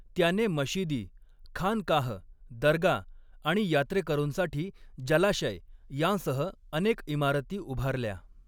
त्याने मशिदी, खानकाह, दर्गा आणि यात्रेकरूंसाठी जलाशय यांसह अनेक इमारती उभारल्या.